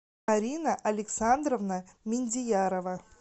арина александровна миндиярова